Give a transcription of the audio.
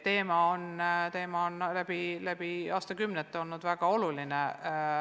Teema on läbi aastakümnete olnud väga oluline.